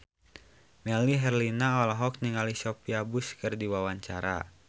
Melly Herlina olohok ningali Sophia Bush keur diwawancara